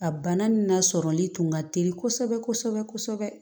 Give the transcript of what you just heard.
A bana nin lasɔrɔli tun ka teli kosɛbɛ kosɛbɛ